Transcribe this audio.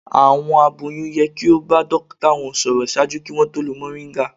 Àwọn aboyún yẹ ki o ba dokita wọn sọrọ ṣaaju ki wọn tó lo moringa